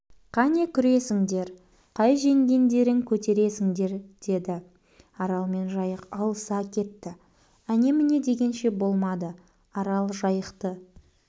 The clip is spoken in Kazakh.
қане күресіңдер қай жеңгендерің көтересіңдер деді арал мен жайық алыса кетті әне-міне дегенше болмады арал жайықты